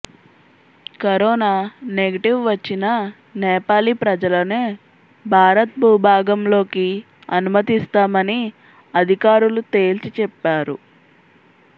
corona negative వచ్చిన నేపాలీ ప్రజలనే భారత్ భూభాగంలోకి అనుమతిస్తామని అధికారులు తేల్చి చెప్పారు